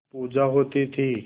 पूजा होती थी